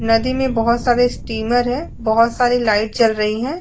नदी में बहुत सारे स्टीमर हैं बहुत सारी लाइट चल रही हैं।